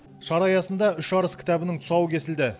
шара аясында үш арыс кітабының тұсауы кесілді